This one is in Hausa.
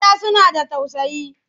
Mata suna da tausayi.